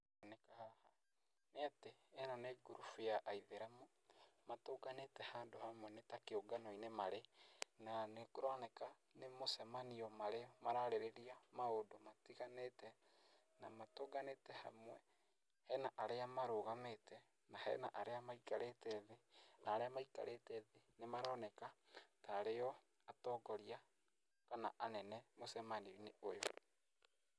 Nĩ atĩ ĩno nĩ ngurubu ya aithĩramu matũnganĩte handũ hamwe nĩ ta kĩũnganoinĩ marĩ, na nĩkũroneka nĩ mũcemanio marĩ mararĩrĩria maũndũ matiganĩte, na matũnganĩte hamwe. Hena arĩa marũgamĩte na hena arĩa maikarĩte thĩ, na arĩa maikarĩte thĩ nĩmaroneka ta arĩo atongoria kana anene mũcemanioinĩ ũyũ.